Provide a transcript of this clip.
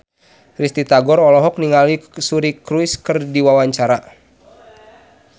Risty Tagor olohok ningali Suri Cruise keur diwawancara